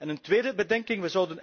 Een tweede bedenking.